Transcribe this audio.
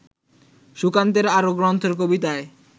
সুকান্তের আরও গ্রন্থের কবিতায়